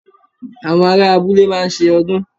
Àwọn ará abúlé máa ń se ọdún